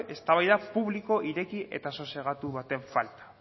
eztabaida publiko eta ireki eta sosegatu baten falta